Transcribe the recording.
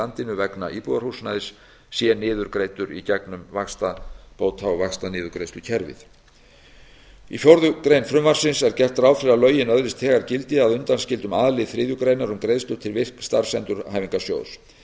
landinu vegna íbúðarhúsnæðis sé niðurgreiddur í gegnum vaxtabóta og vaxtaniðurgreiðslukerfið í fjórða grein frumvarpsins er gert ráð fyrir að lögin öðlist þegar gildi að undanskildum a lið þriðju grein um greiðslur til virk starfsendurhæfingarsjóðs